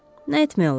Nə etmək olar?